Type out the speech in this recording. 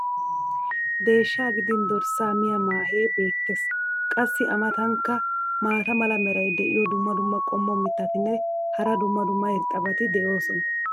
deeshshaa gidin dorssaa miya maahee beetees. qassi a matankka maata mala meray diyo dumma dumma qommo mitattinne hara dumma dumma irxxabati de'oosona.